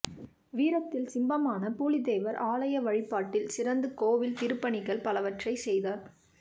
வீரத்தில் சிம்மமான பூலித்தேவர் ஆலய வழிபாட்டில் சிறந்து கோவில் திருப்பணிகள் பலவற்றை செய்தார்